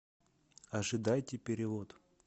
ожидайте перевод